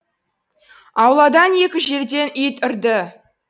ауладан екі жерден ит үрді